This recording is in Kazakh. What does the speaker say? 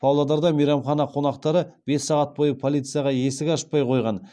павлодарда мейрамхана қонақтары бес сағат бойы полицияға есік ашпай қойған